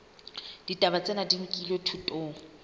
ditaba tsena di nkilwe thutong